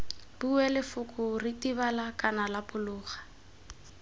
bue lefoko ritibala kana lapologa